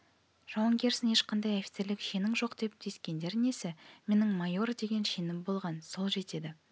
жауынгерсің ешқандай офицерлік шенің жоқ деп тиіскендері несі менің майор деген шенім болған сол жетеді